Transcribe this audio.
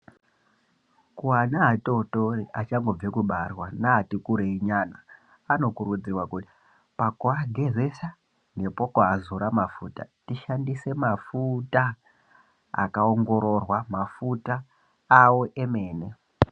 Ana atotori achangobva kubarwa neati kurei nyana vanokurudzirwa kuti pakuagezesa nekuazora mafuta ashandise mafuta akaongororwa mafuta awo emene.